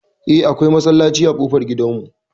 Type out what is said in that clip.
Eh, akwai masallaci a ƙofar gidan mu.